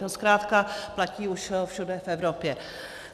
To zkrátka platí už všude v Evropě.